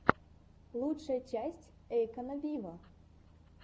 лучшая часть эйкона виво